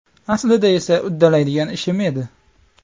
Aslida esa uddalaydigan ishim edi.